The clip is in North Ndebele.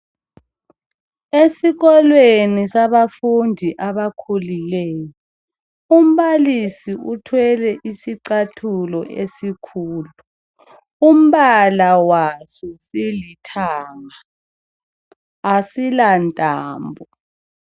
Esikolweni sabafundi abakhulileyo, umbalisi uthwele isicathulo esikhulu umbala waso silithanga, asilantambo.